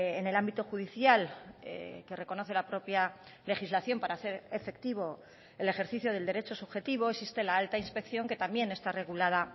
en el ámbito judicial que reconoce la propia legislación para hacer efectivo el ejercicio del derecho subjetivo existe la alta inspección que también está regulada